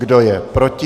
Kdo je proti?